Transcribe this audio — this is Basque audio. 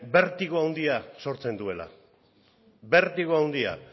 bertigo handia sortzen duela bertigo handia